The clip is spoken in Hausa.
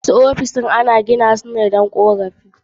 Wasu ofisoshin ana gina su ne kawai don korafi